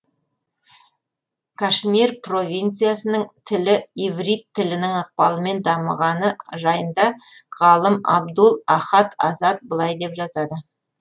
кашмир провинциясының тілі иврит тілінің ықпалымен дамығаны жайында ғалым әбдул ахад азад былай деп жазады